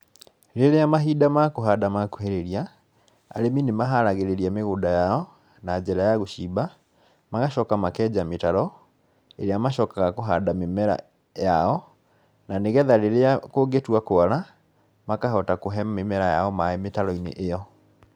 Rĩrĩa mahinda ma kũhanda ma kuhĩrĩria, arĩmi nĩmaharagĩrĩria mĩgunda yao na njĩra ya gũcimba magacoka makenja mĩtaro, ĩrĩa macokaga kũhanda mĩmera yao na nĩgetha rĩrĩa kũngĩtua kwara, makahota kũhe mimera yao maaĩ mĩtaro-inĩ ĩyo.